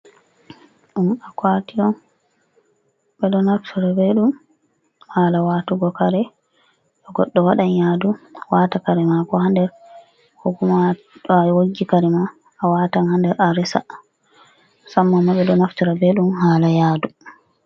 Ɗum aku'ati on, ɓe do naftira be ɗum hala watugo kare too goddo wadan yaadu waata kare maako ha nder kokuma too awoggi karema awatan ha nder a resa musamman ma ɓe do naftira be maajum hala yaadu.